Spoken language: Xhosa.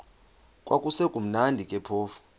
kwakusekumnandi ke phofu